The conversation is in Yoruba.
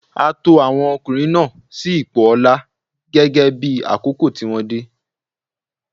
A to àwọn ọkùnrin náà sí ipò ọlá gẹ́gẹ́ bí àkókò tí wọ́n dé.